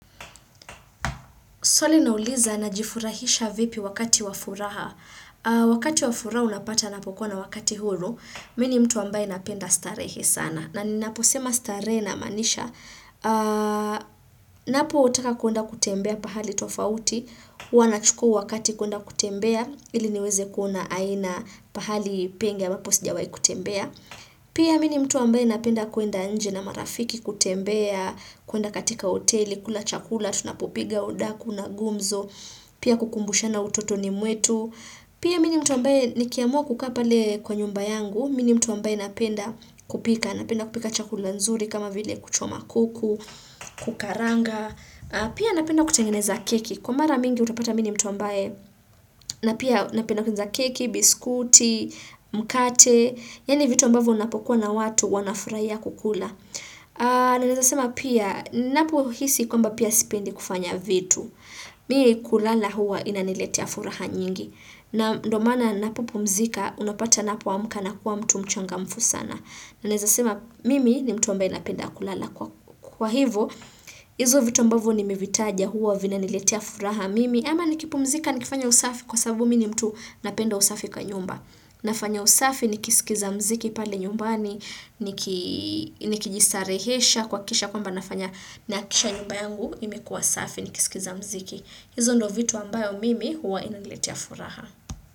Swali inauliza najifurahisha vipi wakati wa furaha. Wakati wa furaha unapata ninapokua na wakati huru. Mimi ni mtu ambaye napenda starehe sana. Na ninaposema starehe namaanisha. Ninapotaka kuenda kutembea pahali tofauti. Huwa nachukua wakati kuenda kutembea. Ili niweze kuna aina pahali pengi ambapo sijawahi kutembea. Pia mimi ni mtu ambaye napenda kuenda nje na marafiki kutembea. Kuenda katika hoteli, kula chakula. Tunapopiga udaku na gumzo pia kukumbushana utotoni mwetu pia mimi mtu ambaye nikiamua kukaa pale kwa nyumba yangu mimi ni mtu ambaye napenda kupika napenda kupika chakula nzuri kama vile kuchoma kuku, kukaranga pia napenda kutengeneza keki, kwa mara mingi utapata mimi mtu ambaye napenda kutengeneza keki biskuti, mkate yaani vitu ambavyo unapokuwa na watu wanafurahia kukula na ninaweza sema pia ninapo hisi kwamba pia sipendi kufanya vitu. Mie kulala huwa inaniletea furaha nyingi. Na ndo maana ninapopumzika unapata ninapoamuka nakuwa mtu mchangamfu sana. Na ninaweza sema mimi ni mtu ambaye ninapenda kulala. Kwa hivyo, hizo vitu ambavyo nimevitaja huwa vinaniletea furaha mimi. Ama nikipumzika nikifanya usafi kwa sababu mimi mtu napenda usafi kwa nyumba. Nafanya usafi nikisikiza mziki pale nyumbani. Nikijisarehesha kwa kisha kwamba nafanya nahakikisha nyumba yangu imekuwa safi nikisikiza mziki. Hizo ndo vitu ambayo mimi huwa inaniletea furaha.